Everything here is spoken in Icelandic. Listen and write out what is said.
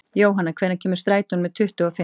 Jóanna, hvenær kemur strætó númer tuttugu og fimm?